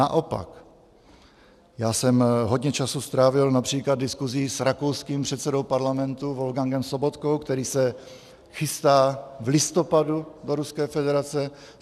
Naopak, já jsem hodně času strávil například diskuzí s rakouským předsedou Parlamentu Wolfgangem Sobotkou, který se chystá v listopadu do Ruské federace.